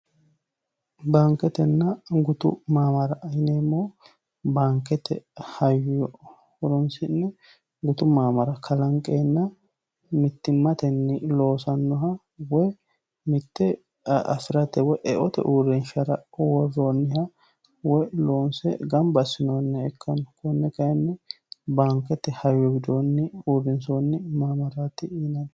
baanketenna gutu maamara yineemmohu baankete hayyo horoonsinne gutu maamara kalanqeenna mittimmatenni loosannoha woy mitte afi'rate woyeote uurenshara worroonniha woy loonse gambassinoonni ikkanno kunne kayinni baankete hayyo injoonni uurrinsoonni maamaraati yinanni.